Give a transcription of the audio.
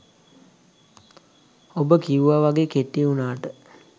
ඔබ කිව්ව වගේ කෙටි වුනාට